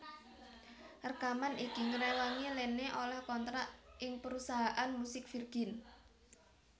Rekaman iki ngréwangi Lene olèh kontrak ing perusahaan musik Virgin